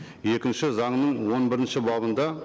екінші заңның он бірінші бабында